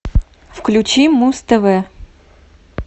включи муз тв